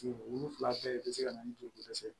Wolonfila bɛɛ de bɛ se ka na ni joli dɛsɛ